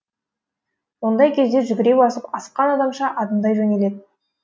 ондай кезде жүгіре басып асыққан адамша адымдай жөнеледі